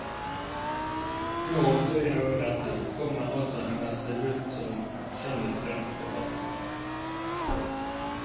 Nå, flere år etter, kommer altså hennes debut som skjønnlitterær forfatter.